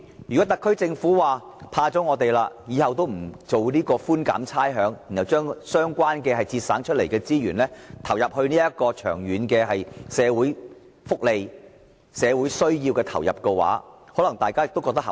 如果特區政府因為怕了我們，以後不再提出寬減差餉的措施，並把所節省的資源投放在長遠的社會福利和社會需要，大家可能認為更為合理。